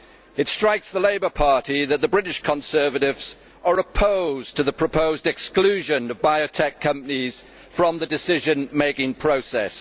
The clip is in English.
It strikes the Labour Party that the British Conservatives are opposed to the proposed exclusion of biotech companies from the decision making process.